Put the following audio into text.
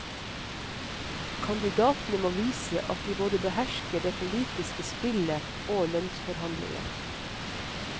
Kandidatene må vise at de både behersker det politiske spillet og lønnsforhandlinger.